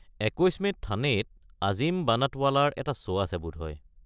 ২১ মে'ত থানেত আজিম বানাটৱালাৰ এটা শ্ব' আছে বোধহয়।